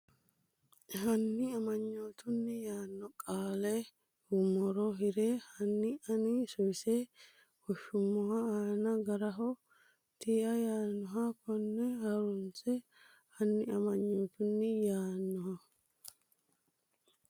Hanni amanyootunni yaanno qaale nummoro hirre Hanni ani suwise woshsheemmo ana Garaho tiia yaannohano konni ha runse Hanni amanyootunni yaanno.